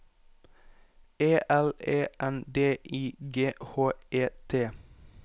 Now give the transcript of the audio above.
E L E N D I G H E T